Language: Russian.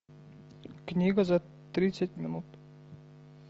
книга за тридцать минут